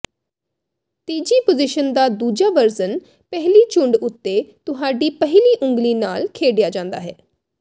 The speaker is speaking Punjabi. ਤੀਜੀ ਪੋਜੀਸ਼ਨ ਦਾ ਦੂਜਾ ਵਰਜ਼ਨ ਪਹਿਲੀ ਝੁੰਡ ਉੱਤੇ ਤੁਹਾਡੀ ਪਹਿਲੀ ਉਂਗਲੀ ਨਾਲ ਖੇਡਿਆ ਜਾਂਦਾ ਹੈ